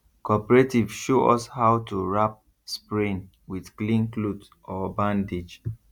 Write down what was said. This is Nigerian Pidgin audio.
cooperative show us how to wrap sprain with clean cloth or bandage